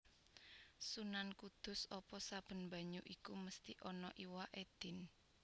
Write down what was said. Sunan Kudus Apa saben banyu iku mesti ana iwaké Din